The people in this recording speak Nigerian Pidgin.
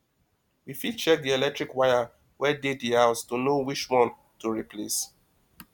we fit check di electric wire wey dey di house to know which one to replace